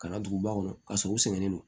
Ka na duguba kɔnɔ k'a sɔrɔ u sɛgɛnnen don